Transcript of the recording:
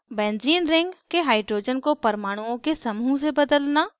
benzene ring के hydrogen को परमाणुओं के समूह से बदलना